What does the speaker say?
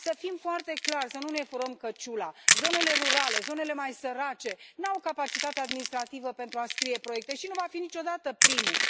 Să fim foarte clari, să nu ne furăm căciula zonele rurale, zonele mai sărace, nu au capacitatea administrativă pentru a scrie proiecte și nu vor fi niciodată primele.